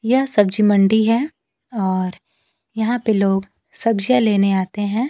यह सब्जी मंडी है और यहां पे लोग सब्जियां लेने आते हैं।